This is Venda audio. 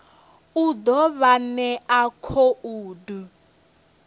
u ḓo vha ṋea khoudu